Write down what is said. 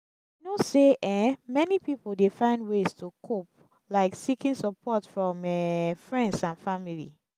i know say um many people dey find ways to cope like seeking support from um friends and family.